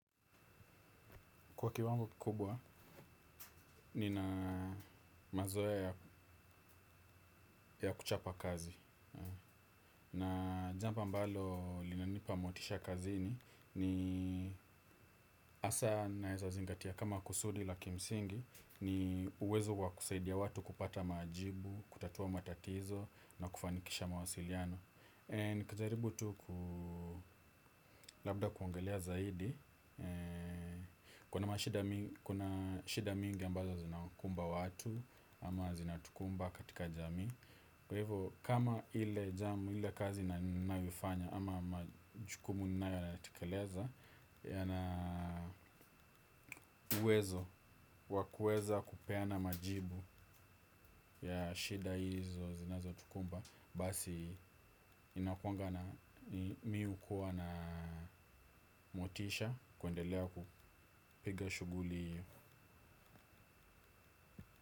Kwa kiwango kikubwa, nina mazoea ya kuchapa kazi. Na jambo ambalo linanipa motisha kazini, ni hasa ninawezazingatia kama kusudi la kimsingi, ni uwezo kwa kusaidia watu kupata majibu, kutatua matatizo, na kufanikisha mawasiliano. Nikijaribu tu ku labda kuongelea zaidi. Kuna mashida mingi ambazo zinawakumba watu. Ama zinatukumba katika jamii. Kwa hivyo kama ile jamu ile kazi na naifanya ama majukumu ninayoyatekeleza yana uwezo wa kuweza kupeana majibu ya shida hizo zinazotukumba. Basi inakuanga na mimi hukuwa na motisha kuendelea kupiga shughuli hiyo.